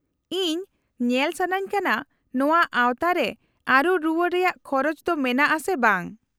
-ᱤᱧ ᱧᱮᱞ ᱥᱟᱹᱱᱟᱹᱧ ᱠᱟᱱᱟ ᱱᱚᱶᱟ ᱟᱶᱛᱟ ᱨᱮ ᱟᱹᱨᱩ ᱨᱩᱣᱟᱹᱲ ᱨᱮᱭᱟᱜ ᱠᱷᱚᱨᱚᱪ ᱫᱚ ᱢᱮᱱᱟᱜᱼᱟ ᱥᱮ ᱵᱟᱝ ᱾